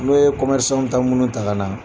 N'o ye comɛrisanw bɛ taa minnu ta ka na.